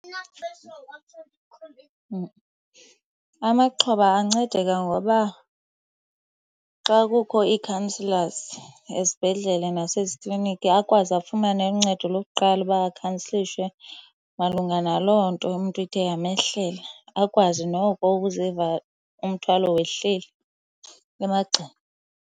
Amaxhoba ancedeka ngoba xa kukho ii-counsellors ezibhedlela nasezikliniki akwazi afumane uncedo lokuqala, uba akhansilishwe malunga naloo nto umntu ithe yamehlela, akwazi noko ukuziva umthwalo wehlile emagxeni.